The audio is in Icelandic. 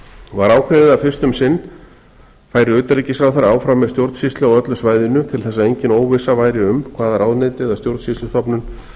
var ákveðið að fyrst um sinn færi utanríkisráðherra áfram með stjórnsýslu á öllu svæðinu til þess að engin óvissa væri um hvaða ráðuneyti eða stjórnsýslustofnun